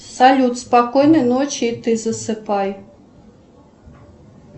салют спокойной ночи и ты засыпай